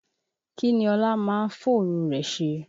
Kí ni Ọlá máa ń fòru rẹ̀ ṣe?